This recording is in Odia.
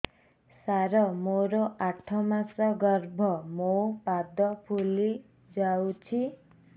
ସାର ମୋର ଆଠ ମାସ ଗର୍ଭ ମୋ ପାଦ ଫୁଲିଯାଉଛି